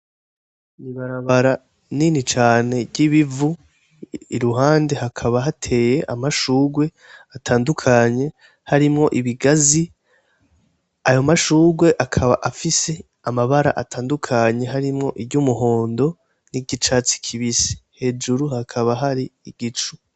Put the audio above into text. Ni ibarabara nini cane ry'ibivu, iruhande hakaba hateye amashurwe atandukanye harimwo ibigazi, ayo mashurwe akaba afise amabara atandukanye harimwo iryumuhondo n'iryicatsi kibisi, hejuru hakaba hari igicu.